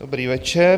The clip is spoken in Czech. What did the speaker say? Dobrý večer.